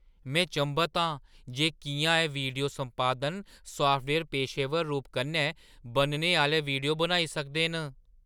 में चंभत आं जे किʼयां एह् वीडियो संपादन साफ्टवेयर पेशेवर रूप कन्नै बनने आह्‌ले वीडियो बनाई सकदा ऐ।